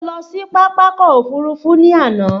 Mo lọ sí Pápákọ̀ òfurufú ní àná